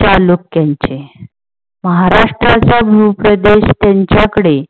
चालुक्यांचे. महाराष्ट्राचा भूप्रदेश त्यांच्याकडे